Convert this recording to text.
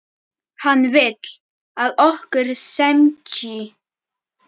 Hann vill, að okkur semji.